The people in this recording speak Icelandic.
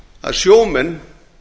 að sjómenn